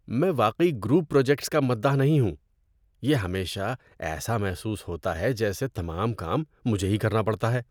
میں واقعی group projects کا مداح نہیں ہوں۔ یہ ہمیشہ ایسا محسوس ہوتا ہے جیسے تمام کام مجھے ہی کرنا پڑتا ہے۔